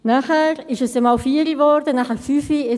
Danach wurde es mal 16 Uhr, dann 17 Uhr.